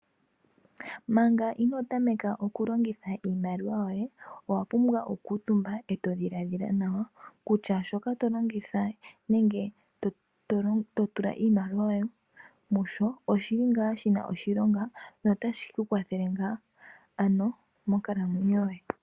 Manga inoo tameka oku longitha iimaliwa yoye owa pumbwa oku kuutumba eto dhiladhila nawa kutya shoka to longitha iimaliwa yoye nenge to tula iimaliwa yoye oshili shina oshilonga notashi ku kwathele ngaa, ano monkalamwenyo yoye.